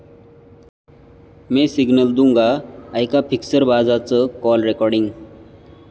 मैं सिग्नल दुंगा...',ऐका फिक्सरबाजाचं कॉल रेकॉर्डिंग!